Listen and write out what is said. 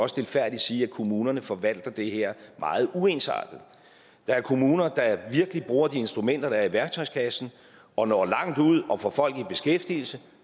stilfærdigt sige at kommunerne forvalter det her meget uensartet der er kommuner der virkelig bruger de instrumenter der er i værktøjskassen og når langt ud og får folk i beskæftigelse